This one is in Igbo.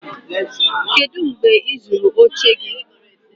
kedu mgbe ị zụrụ oche gị?